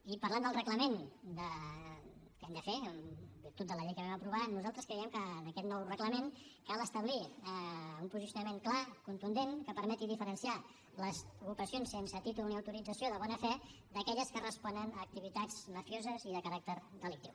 i parlant del reglament que hem de fer en virtut de la llei que vam aprovar nosaltres creiem que en aquest nou reglament cal establir un posicionament clar contundent que permeti diferenciar les ocupacions sense títol ni autorització de bona fe d’aquelles que responen a activitats mafioses i de caràcter delictiu